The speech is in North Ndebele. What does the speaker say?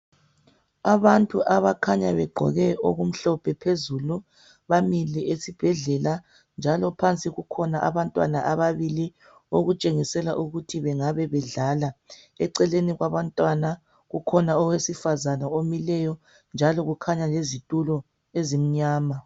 Abantu abakhanya begqoke okumhlophe phezulu bamile esibhedlela. Njalo phansi kukhona abantwana ababili okutshengisela ukuthi bengabedlala. Eceleni kwabantwana kukhona owesifazana omileyo njalo kukhanya lezitulo ezimnyama.